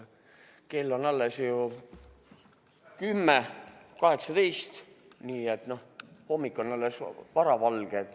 Kell on 10.18, nii et alles hommik, varavalge.